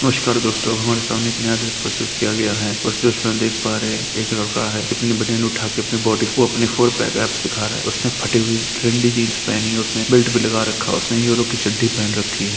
नमस्कार दोस्तों हमारे सामने एक नया दृश्य प्रस्तुत किया गया है उस दृश्य में हम देख पा रहें हैं एक लड़का है अपनी बनियान उठा के अपनी बॉडी को अपने फोर पैक एब्स दिखा रहा है उसने फटी हुई ट्रेंडी जिन्स पहनी है उसने बेल्ट भी लगा रखा है उसने यूरो कि चड्डी पहेन रखी है।